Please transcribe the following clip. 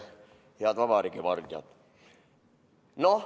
Head vabariigi vardjad!